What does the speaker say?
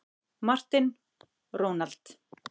Martin, Ronald.